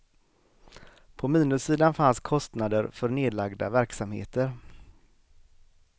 På minussidan fanns kostnader för nedlagda verksamheter.